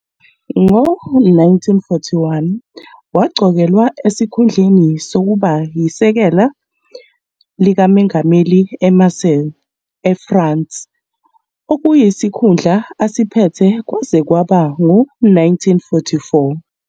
Ngo-1941, waqokelwa esikhundleni sokuba yisekela likamengameli eMarseilles, eFrance, okuyisikhundla asiphethe kwaze kwaba ngo-1944.